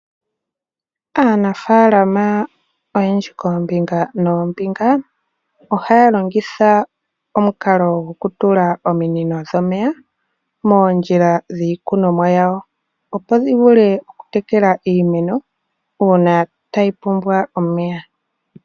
Aanafaalama oyendji koombinga noombinga ohaya longitha omukalo gokutula ominino dhomeya moondjila dhiikunomwa yawo, opo dhi vule okutekela iimeno uuna tayi pumbwa omeya.